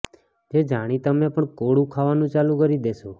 જે જાણી તમે પણ કોળું ખાવાનું ચાલું કરી દેશો